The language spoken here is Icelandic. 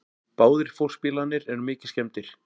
Báðir fólksbílarnir eru mikið skemmdir